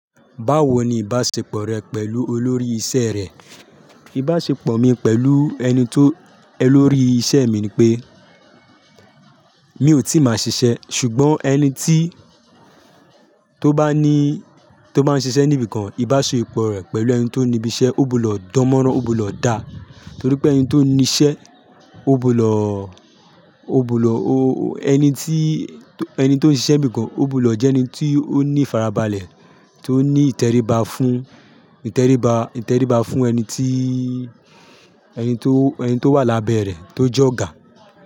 Báwo ni ìbáṣepọ̀ rẹ pẹ̀lú olórí iṣẹ́ rẹ? Ìbáṣepọ̀ mi pẹ̀lú ẹni tó, olórí iṣẹ́ mi ni pé mi ò tí ì máa ṣiṣẹ́, ṣùgbọ́n ẹni tí tó bá ní, tó bá ń ṣiṣẹ́ níbi kan, ìbáṣepọ̀ rẹ̀ pẹ̀lú ẹni tó ní ibi iṣẹ́ ó bù lọ̀ dánmọ́rán, ó bù lọ̀ dá. Nítorí pé ẹni tó ní iṣẹ́ ó bù lọ̀, ó bù lọ̀ o-- ẹni tí, ẹni tó ń ṣiṣẹ́ níbi kan ó bù lọ̀ jẹ́ ẹni tí ó ní farabalẹ̀, tí ó ní ìtẹríba fún, ìtẹríba, ìtẹríba fún ẹni tí, ẹni tó, ẹni tó wà lábẹ́ ẹ̀ tó jọ́ ga.